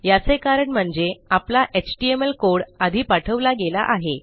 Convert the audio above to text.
याचे कारण म्हणजे आपला एचटीएमएल कोड आधी पाठवला गेला आहे